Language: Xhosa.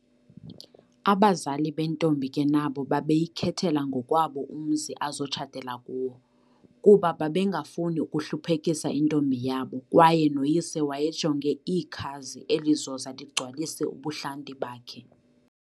Abazali bentombi ke nabo babeyikhethela ngokwabo umzi azotshatela kuwo, kuba babengafuni ukuhluphekisa intombi yabo kwaye noyise wayejonge ikhazi elizoza ligcwalise ubuhlanti bakhe,